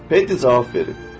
Pedi cavab verib.